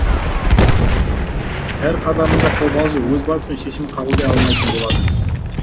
әр қадамында қобалжып өз басымен шешім қабылдай алмайтын болады